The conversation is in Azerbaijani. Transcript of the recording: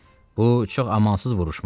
Bu çox amansız vuruşma idi.